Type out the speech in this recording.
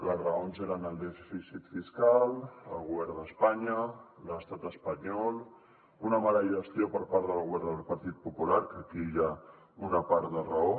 les raons eren el dèficit fiscal el govern d’espanya l’estat espanyol una mala gestió per part del govern del partit popular que aquí hi ha una part de raó